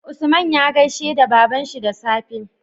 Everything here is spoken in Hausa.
Usman ya gaishe da babanshi da safe